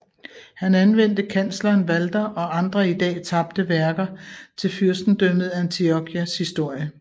Han anvendte kansleren Walter og andre i dag tabte værker til Fyrstendømmet Antiochias historie